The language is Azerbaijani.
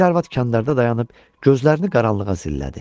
Bir arvad qandarda dayanıb gözlərini qaranlığa zillədi.